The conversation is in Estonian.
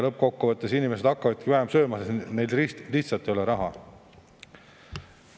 Lõppkokkuvõttes inimesed hakkavadki vähem sööma, sest neil lihtsalt ei ole raha.